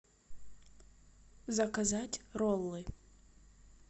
заказать роллы